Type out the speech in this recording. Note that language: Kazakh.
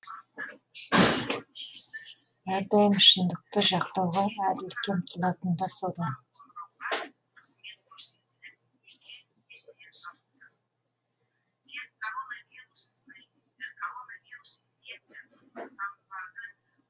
әрдайым шындықты жақтауға әділдікке ұмтылатыны да содан